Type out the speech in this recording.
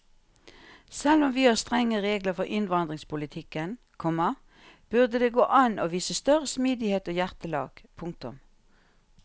Selv om vi har strenge regler for innvandringspolitikken, komma burde det gå an å vise større smidighet og hjertelag. punktum